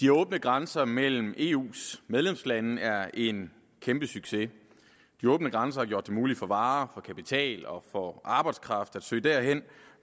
de åbne grænser mellem eus medlemslande er en kæmpesucces de åbne grænser har gjort det muligt for varer for kapital og for arbejdskraft at søge derhen